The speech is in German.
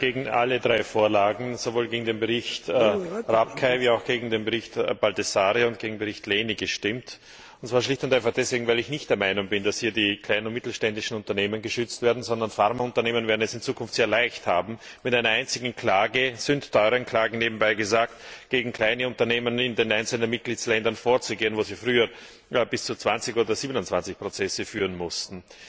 Ich habe gegen alle drei Vorlagen sowohl gegen den Bericht Rapkay wie auch gegen den Bericht Baldassarre und gegen den Bericht Lehne gestimmt, und zwar schlicht und einfach deswegen, weil ich nicht der Meinung bin, dass hier die kleinen und mittelständischen Unternehmen geschützt werden, sondern Pharma Unternehmen es in Zukunft sehr leicht haben werden, mit einer einzigen Klage sündteuren Klagen, nebenbei gesagt gegen kleine Unternehmen in den einzelnen Mitgliedsländern vorzugehen, wo sie früher bis zu 20 oder 27 Prozesse führen mussten.